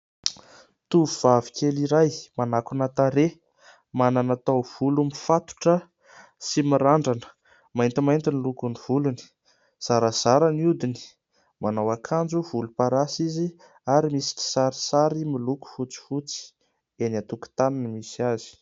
Tovovavikely iray manakona tarehy, manana taovolo mifatotra sy mirandrana ; maintimainty ny lokon'ny volony, zarazara ny odiny, manao akanjo volom-parasy izy ary misy kisarisary miloko fotsifotsy. Eny antokontany no misy azy.